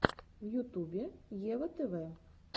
в ютубе ева тв